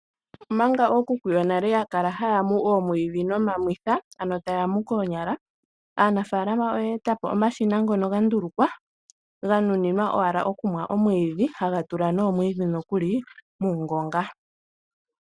Omanga ookuku yonale ya kala haa mu oomwiidhi nomamwitha, ano taya mu koonyala, aanafaalama oyeeta po omashina ngono ga ndulukwa, ga nuninwa owala okumwa omwiidhi, haga tula noomwiidhi nokuli muungonga.